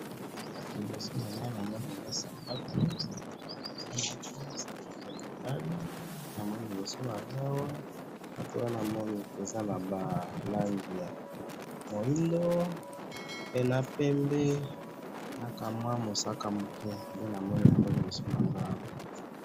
liboso nanga awa namoni eza sapatu sapatu wana eza moko eza sapatu ya mibali namoni liboso nangayi awa sapatu wana eza naba langi ya mwindu pe na pembe na kamwa ya mosaka nde namoni libso nanga awa